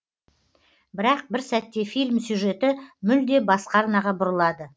бірақ бір сәтте фильм сюжеті мүлде басқа арнаға бұрылады